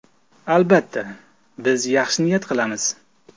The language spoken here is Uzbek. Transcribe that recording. Albatta, biz yaxshi niyat qilamiz.